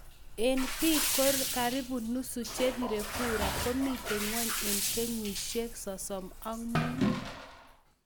En pik karipu nusu che pirre kura komiten ngwony en kenyisiek 35.